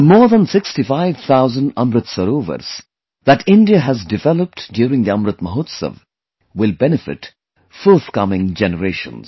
The more than 65 thousand 'AmritSarovars' that India has developed during the 'AmritMahotsav' will benefit forthcoming generations